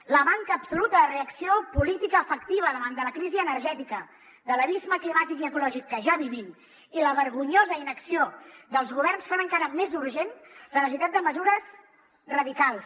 la manca absoluta de reacció política efectiva davant de la crisi energètica de l’abisme climàtic i ecològic que ja vivim i la vergonyosa inacció dels governs fan encara més urgent la necessitat de mesures radicals